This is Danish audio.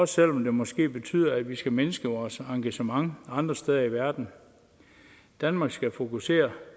selv om det måske betyder at vi skal mindske vores engagement andre steder i verden danmark skal fokusere